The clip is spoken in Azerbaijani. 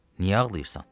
Niyə ağlayırsan?